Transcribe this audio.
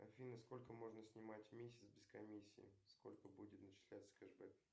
афина сколько можно снимать в месяц без комиссии сколько будет начисляться кэшбэк